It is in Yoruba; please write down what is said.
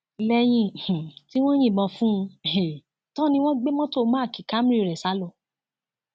lẹyìn um tí wọn yìnbọn fún un um tán ni wọn gbé mọtò mark camry rẹ sá lọ